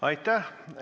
Aitäh!